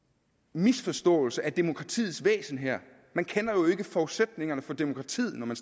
misforståelse af demokratiets væsen her man kender jo ikke forudsætningerne for demokratiet når man